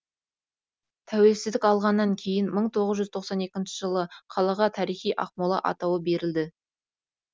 тәуелсіздік алғаннан кейін мың тоғыз жүз тоқсан екінші жылы қалаға тарихи ақмола атауы берілді